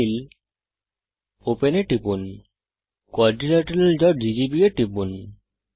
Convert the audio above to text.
file Open এ টিপুন quadrilateralggb এ টিপুন